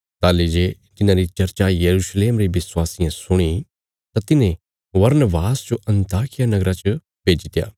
ताहली जे तिन्हांरी चर्चा यरूशलेम रे विश्वासियें सुणी तां तिन्हें बरनबास जो अन्ताकिया नगरा च भेजित्या